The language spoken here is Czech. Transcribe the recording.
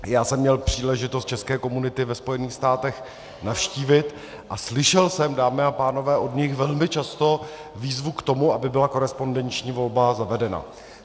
Já jsem měl příležitost české komunity ve Spojených státech navštívit a slyšel jsem, dámy a pánové, od nich velmi často výzvu k tomu, aby byla korespondenční volba zavedena.